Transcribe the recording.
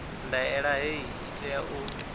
ndaela hei i tea u